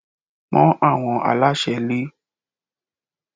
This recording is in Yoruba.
Pọ́n àwọn aláṣẹ lé!